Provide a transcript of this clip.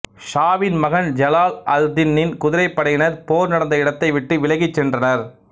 ஷாவின் மகன் ஜலால் அல்தின்னின் குதிரைப்படையினர் போர் நடந்த இடத்தை விட்டு விலகிச் சென்றனர்